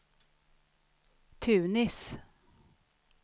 Tunis